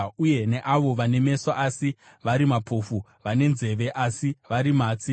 Uyai neavo vane meso asi vari mapofu, vane nzeve asi vari matsi.